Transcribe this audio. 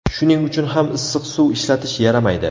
Shuning uchun ham issiq suv ishlatish yaramaydi.